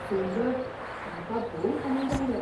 सुंदर, म्हाका भोव उमेद आयल्या.